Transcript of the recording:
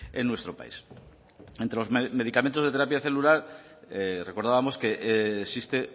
en nuestro país entre los medicamentos de terapia celular recordábamos que existe